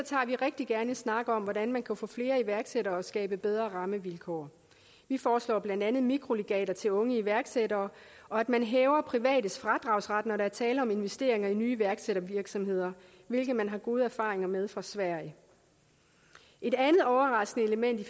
vi rigtig gerne en snak om hvordan man kan få flere iværksættere og skabe bedre rammevilkår vi foreslår blandt andet mikrolegater til unge iværksættere og at man hæver privates fradragsret når der er tale om investeringer i nye iværksættervirksomheder hvilket man har gode erfaringer med fra sverige et andet overraskende element i